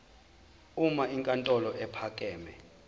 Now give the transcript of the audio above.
uma inkantolo ephakeme